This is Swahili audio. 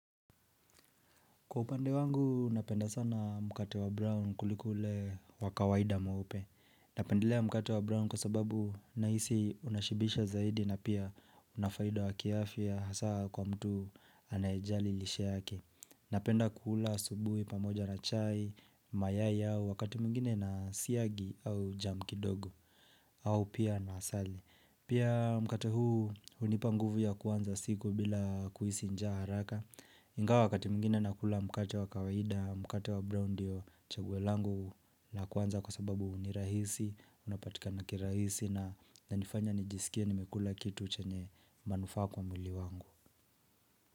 Kwa upande wangu, napenda sana mkate wa Brown kuliko ule wa kawaida mweupe. Napendelea mkate wa Brown kwa sababu nahisi unashibisha zaidi na pia una faida wa kiafya hasa kwa mtu anayejali lishe yake. Napenda kula asubuhi pamoja na chai, mayai au wakati mwingine na siagi au jam kidogo, au pia na asali. Pia mkate huu hunipa nguvu ya kuanza siku bila kuhisi njaa haraka. Ingawa wakati mwingine nakula mkate wa kawaida, mkate wa brown ndiyo chaguo langu la kwanza kwa sababu ni rahisi, unapatika na kirahisi na inanifanya nijisikie nimekula kitu chenye manufaa kwa mwili wangu.